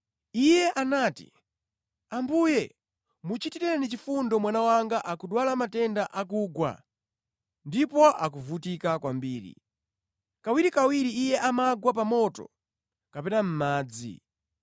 Iye anati, “Ambuye, muchitireni chifundo mwana wanga akudwala matenda akugwa ndipo akuvutika kwambiri. Kawirikawiri iye amagwa pa moto kapena mʼmadzi.